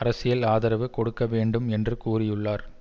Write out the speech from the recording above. அரசியல் ஆதரவு கொடுக்க வேண்டும் என்று கூறியுள்ளார்